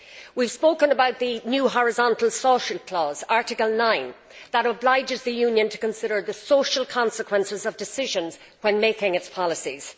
We have spoken about the new horizontal social clause Article 9 that obliges the Union to consider the social consequences of decisions when making its policies.